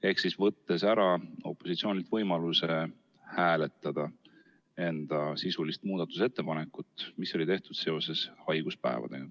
Opositsioonilt võeti ära võimalus hääletada enda sisulist muudatusettepanekut, mis oli tehtud seoses haiguspäevadega.